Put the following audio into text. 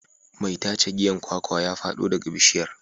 Mai tace giyan kwakwa ya fado daga bishiyar.